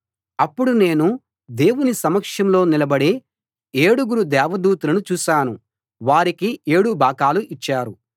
అప్పుడు నేను దేవుని సమక్షంలో నిలబడే ఏడుగురు దేవదూతలను చూశాను వారికి ఏడు బాకాలు ఇచ్చారు